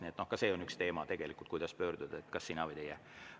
Nii et ka see on üks teema, kuidas pöörduda, kas "sina" või "teie".